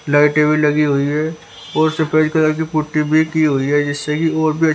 लाइटे भी लगी हुई है और सफेद कलर की पुट्टी भी की हुई है जिससे की और बेस--